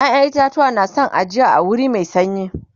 ƴaƴan itatuwa na San ajiya a wuri Mai sanyi